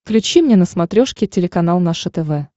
включи мне на смотрешке телеканал наше тв